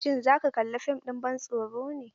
Shin za ka kalla fim ɗin ban tsoro ne?